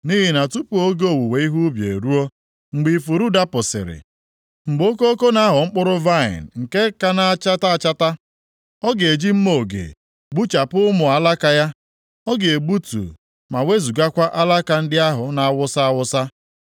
Nʼihi na tupu oge owuwe ihe ubi eruo, mgbe ifuru dapụsịrị, mgbe okoko na-aghọ mkpụrụ vaịnị nke ka na-achata achata, ọ ga-eji mma oge gbuchapụ ụmụ alaka ya, ọ ga-egbutu ma wezugakwa alaka ndị ahụ na-awasa awasa.